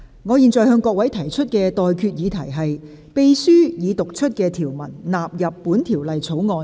我現在向各位提出的待決議題是：秘書已讀出的條文納入本條例草案。